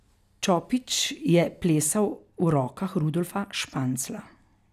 Čopič je plesal v rokah Rudolfa Španzla.